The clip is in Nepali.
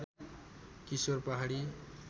किशोर पहाडी